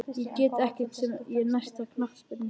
Ég get ekkert sagt um næsta knattspyrnustjóra.